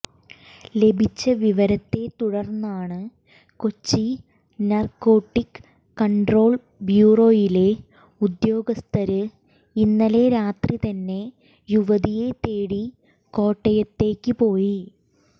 ലഭിച്ച വിവരത്തെ തുടര്ന്നാണ് കൊച്ചി നര്ക്കോട്ടിക്ക് കണ്ട്രോള് ബ്യൂറോയിലെ ഉദ്യോഗസ്ഥര് ഇന്നലെ രാത്രി തന്നെ യുവതിയെ തേടി കോട്ടയത്തേക്ക് പോയി